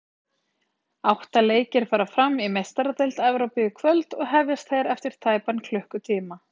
Átta leikir fara fram í Meistaradeild Evrópu í kvöld og hefjast þeir eftir tæpan klukkutíma.